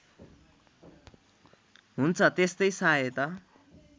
हुन्छ त्यस्तै सहायता